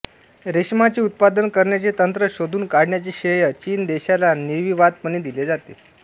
रेशमाचे उत्पादन करण्याचे तंत्र शोधून काढण्याचे श्रेय चीन देशाला निर्विवादपणे दिले जाते